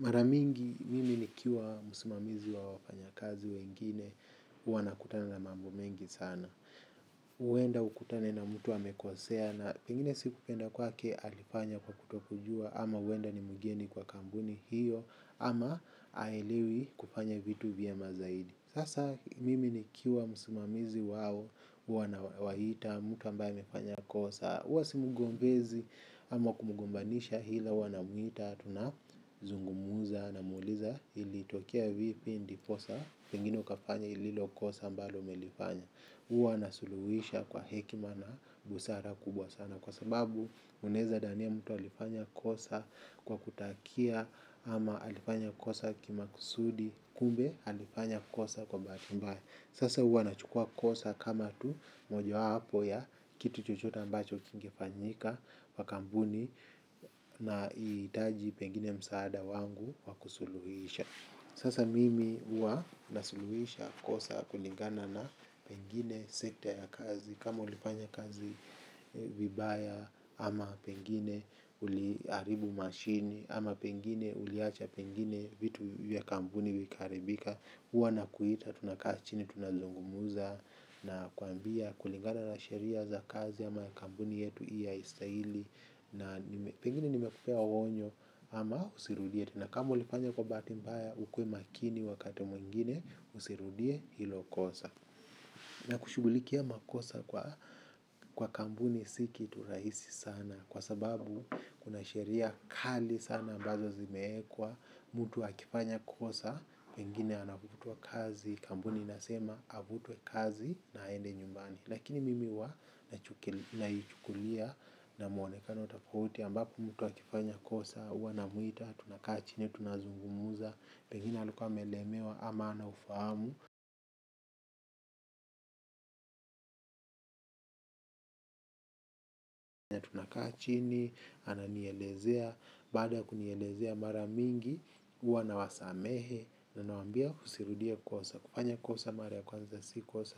Mara mingi mimi nikiwa msimamizi wa wafanyakazi wengine huwa nakutana na mambo mengi sana. Huenda ukutane na mtu amekosea na pengine si kupenda kwake alifanya kwa kutokujua ama huenda ni mgeni kwa kampuni hiyo ama haelewi kufanya vitu vyema zaidi. Sasa mimi nikiwa msimamizi wao huwa nawaita mtu ambaye amefanya kosa huwa simgombezi ama kumgombanisha ila huwa namwita. Tunazungumza namuuliza ilitokea vipi ndiposa pengine ukafanya lilo kosa ambalo umelifanya huwa nasuluhisha kwa hekima na busara kubwa sana. Kwa sababu unaeza dhania mtu alifanya kosa kwa kutakia ama alifanya kosa kimakusudi kumbe alifanya kosa kwa bahati mbaya. Sasa huwa nachukua kosa kama tu mojawapo ya kitu chochote ambacho kingefanyika kwa kampuni nahitaji pengine msaada wangu wa kusuluhisha. Sasa mimi huwa nasuluhisha kosa kulingana na pengine sekta ya kazi. Kama ulifanya kazi vibaya ama pengine uliharibu mashini. Ama pengine uliacha pengine vitu vya kampuni vikaharibika huwa nakuita, tunakaa chini, tunazungumza. Nakwambia kulingana na sheria za kazi ama kampuni yetu hii haistahili. Na pengine nimekupea onyo ama usirudie. Tena kama ulifanya kwa bahati mbaya ukuwe makini wakati mwingine usirudie hilo kosa. Na kushughulikia makosa kwa kampuni si kitu rahisi sana. Kwa sababu kuna sheria kali sana ambazo zimeekwa, mtu akifanya kosa, pengine anafutwa kazi, kampuni inasema afutwe kazi na aende nyumbani. Lakini mimi huwa naichukulia na mwonekano tofauti ambapo mtu akifanya kosa, huwa namwita, tunakaa chini, tunazungumza, pengine alikua amelemewa ama hana ufahamu. Tunakaa chini, ananielezea, baada ya kunielezea mara mingi, huwa nawasamehe. Na nawaambia usirudie kosa, kufanya kosa mara ya kwanza si kosa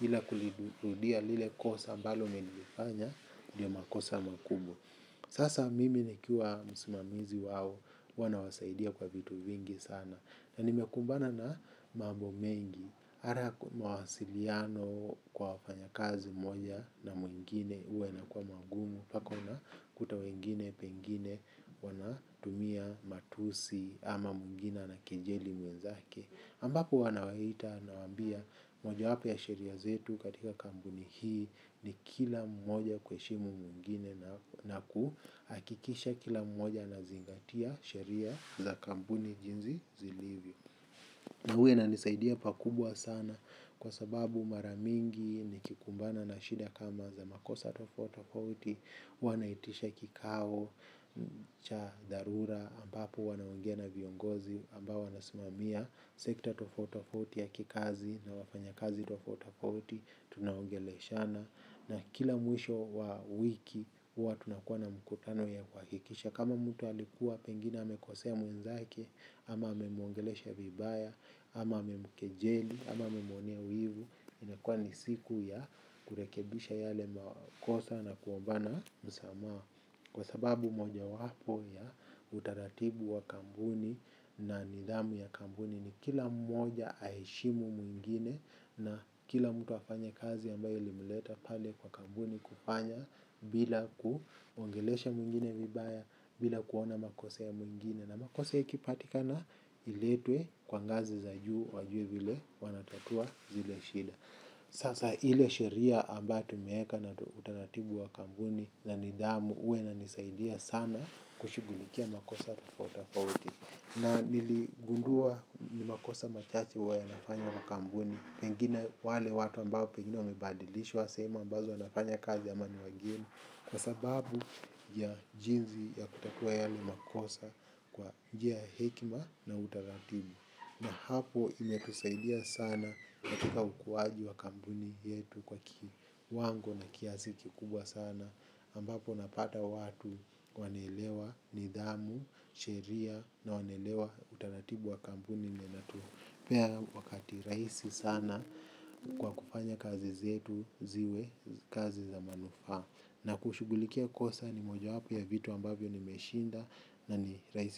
ila kulirudia lile kosa ambalo nilifanya, ndio makosa makubwa. Sasa mimi nikiwa msimamizi wao, huwa nawasaidia kwa vitu vingi sana. Na nimekumbana na mambo mengi ala mawasiliano kwa wafanyakazi moja na mwingine huwa inakua magumu mpaka unakuta wengine, pengine, wanatumia matusi ama mwingine anakejeli mwenzake ambapo wanawaita nawaambia mojawapo ya sheria zetu katika kampuni hii. Ni kila mmoja kuheshimu mwingine na kuhakikisha kila mmoja anazingatia sheria za kampuni jinsi zilivyo. Na huyo ananisaidia pakubwa sana kwa sababu mara mingi nikikumbana na shida kama za makosa tofauti tofauti huwa naitisha kikao cha dharura ambapo wanaongea na viongozi ambao wanasimamia sekta tofauti tofauti ya kikazi na wafanyakazi tofauti tofauti tunaongeleshana. Na kila mwisho wa wiki huwa tunakuwa na mkutano ya kuhakikisha kama mtu alikuwa pengine amekosea mwenzake, ama amemwongelesha vibaya, ama amemkejeli, ama amemuonea wivu. Inakua ni siku ya kurekebisha yale makosa na kuombana msamaha. Kwa sababu mojawapo ya utaratibu wa kampuni na nidhamu ya kampuni ni kila mmoja aheshimu mwingine na kila mtu afanye kazi ambayo ilimleta pale kwa kampuni kufanya bila kuongelesha mwingine vibaya bila kuona makosa ya mwingine na makosa ikipatikana iletwe kwa ngazi za juu wajue vile wanatatua zile shida. Sasa ile sheria ambayo tumeeka na utaratibu wa kampuni na nidhamu huwa inanisaidia sana kushughulikia makosa tofauti tofauti. Na niligundua ni makosa machache huwa yanafanya na kampuni. Pengine wale watu ambao pengine wamebadilishwa sehemu ambazo wanafanya kazi ama ni wageni. Kwa sababu ya jinsi ya kutakua yale makosa kwa njia ya hekima na utaratibu. Na hapo imetusaidia sana katika ukuwaji wa kampuni yetu kwa kiwango na kiasi kikubwa sana ambapo unapata watu wanelewa nidhamu, sheria na wanaelewa utaratibu wa kampuni na inatupea wakati rahisi sana kwa kufanya kazi zetu ziwe kazi za manufaa Na kushugulikia kosa ni moja wapo ya vitu ambavyo nimeshinda na ni rahisi.